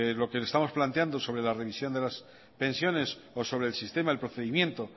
lo que le estamos planteando sobre la revisión de las pensiones o sobre el sistema el procedimiento